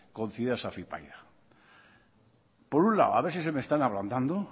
concebidas a afypaida por un lado a ver si se me están ablandando